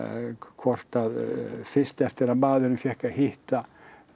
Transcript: hvort að fyrst eftir að maðurinn fékk að hitta